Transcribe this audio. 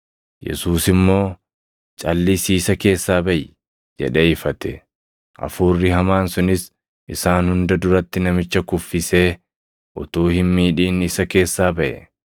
Yesuus immoo, “Calʼisii isa keessaa baʼi!” jedhee ifate. Hafuurri hamaan sunis isaan hunda duratti namicha kuffisee utuu hin miidhin isa keessaa baʼe.